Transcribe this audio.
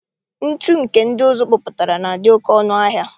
Ntụ nke ndị ụzụ kpụpụtara na-adị oke ọnụ ahịa.